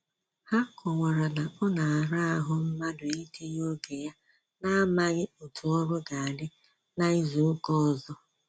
Ha kọwara na ọ na ara ahụ mmadụ itinye oge ya na-amaghị otú ọrụ ga adị na-ịzụ ụka ọzọ